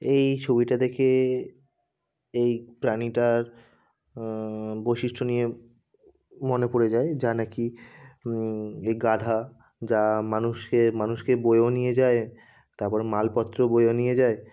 এই ছবিটা দেখে এই প্রাণীটার আহ বৈশিষ্ট্য নিয়ে মনে পড়ে যায় যা নাকি উম এই গাধা | যা মানুষের মানুষকে বয়ে ও নিয়ে যায় তারপর মালপত্র বয়ে ও নিয়ে যায়।